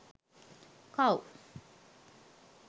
cow